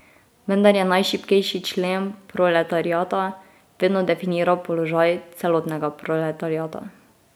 Vendar je najšibkejši člen proletariata vedno definiral položaj celotnega proletariata.